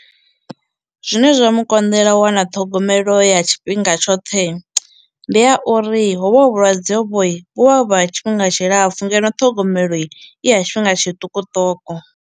Zwine zwa mu konḓela u wana ṱhogomelo ya tshifhinga tshoṱhei ndi ya uri hovha hu vhulwadze vhoi vhu vha vhu ha tshifhinga tshilapfu ngeno ṱhogomelo i ya tshifhinga tshiṱukuṱuku.